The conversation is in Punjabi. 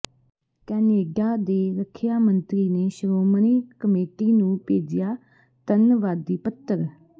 ਕੈਨੇਡਾ ਦੇ ਰੱਖਿਆ ਮੰਤਰੀ ਨੇ ਸ਼੍ਰੋਮਣੀ ਕਮੇਟੀ ਨੂੰ ਭੇਜਿਆ ਧੰਨਵਾਦੀ ਪੱਤਰ